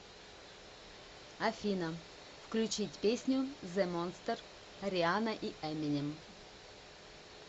афина включить песню зе монстер рианна и эминем